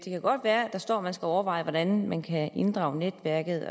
der står at man skal overveje hvordan man kan inddrage netværket